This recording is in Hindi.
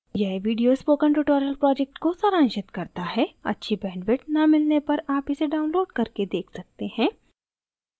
यह video spoken tutorial project को सारांशित करता है अच्छी bandwidth न मिलने पर आप इसे download करके देख सकते हैं